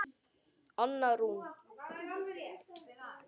Anna Rún.